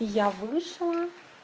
я вышла